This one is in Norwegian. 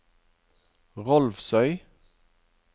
Rolvsøy